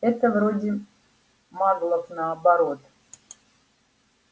это вроде маглов наоборот